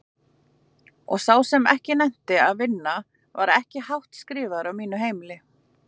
Og sá sem ekki nennti að vinna var ekki hátt skrifaður á mínu heimili.